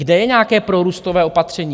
Kde je nějaké prorůstové opatření?